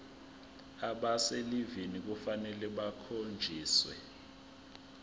abaselivini kufanele bakhonjiswe